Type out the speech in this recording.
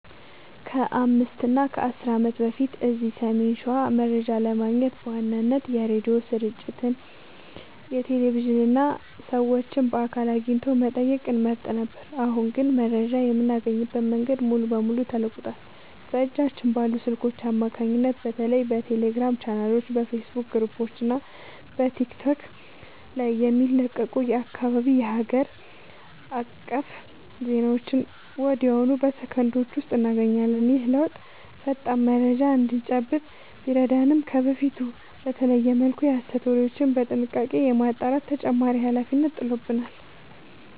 ከ5 እና 10 ዓመት በፊት እዚህ ሰሜን ሸዋ መረጃ ለማግኘት በዋናነት የሬዲዮ ስርጭቶችን፣ ቴሌቪዥንን እና ሰዎችን በአካል አግኝቶ መጠየቅን እንመርጥ ነበር። አሁን ግን መረጃ የምናገኝበት መንገድ ሙሉ በሙሉ ተለውጧል። በእጃችን ባሉ ስልኮች አማካኝነት በተለይ በቴሌግራም ቻናሎች፣ በፌስቡክ ግሩፖች እና በቲክቶክ ላይ የሚለቀቁ የአካባቢና የሀገር አቀፍ ዜናዎችን ወዲያውኑ በሰከንዶች ውስጥ እናገኛለን። ይህ ለውጥ ፈጣን መረጃ እንድንጨብጥ ቢረዳንም፣ ከበፊቱ በተለየ መልኩ የሐሰት ወሬዎችን በጥንቃቄ የማጣራት ተጨማሪ ኃላፊነት ጥሎብናል።